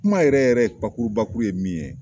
Kuma yɛrɛ yɛrɛ bakurubakuru ye min ye.